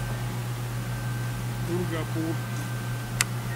дургапур